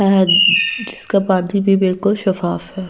अहद जिसका पाथवी भी बिल्कुल सफाफ है।